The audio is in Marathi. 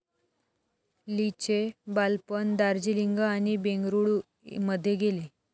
लीचे बालपण दार्जीलिंग आणि बेंगळूरू मध्ये गेले.